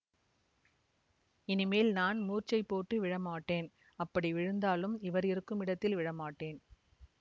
இனிமேல் நான் மூர்ச்சை போட்டு விழமாட்டேன் அப்படி விழுந்தாலும் இவர் இருக்குமிடத்தில் விழமாட்டேன்